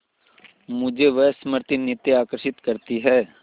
मुझे वह स्मृति नित्य आकर्षित करती है